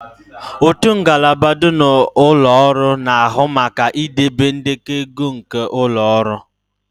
Otu ngalaba dị na ụlọ ọrụ na-ahụ maka idobe ndekọ ego nke ụlọ ọrụ